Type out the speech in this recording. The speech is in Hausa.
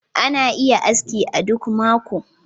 Ina yin aski a duk mako